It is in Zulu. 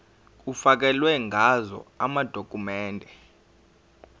kufakelwe ngazo amadokhumende